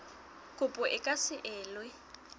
kopo e ka se elwe